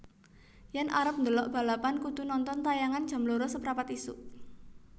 Yen arep ndelok balapan kudu nonton tayangan jam loro seprapat isuk